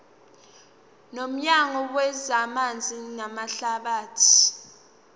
nomnyango wezamanzi namahlathi